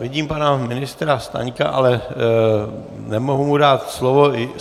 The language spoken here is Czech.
Vidím pana ministra Staňka, ale nemohu mu dát slovo.